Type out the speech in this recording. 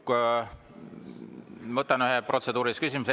Ma võtan ühe protseduurilise küsimuse.